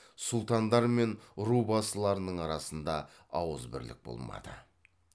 сұлтандар мен рубасыларының арасында ауызбірлік болмады